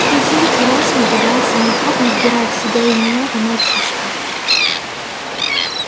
пузырь рос надувался неохотно вбирая в себя и меня и мальчишку